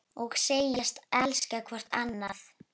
Og segjast elska hvort annað.